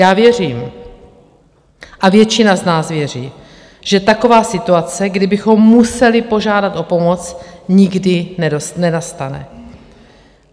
Já věřím, a většina z nás věří, že taková situace, kdy bychom museli požádat o pomoc, nikdy nenastane.